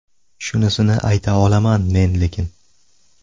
Shunisini ayta olaman, men lekin.